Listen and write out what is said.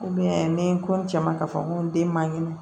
ni n ko n cɛ ma k'a fɔ n ko n den ma kɛnɛ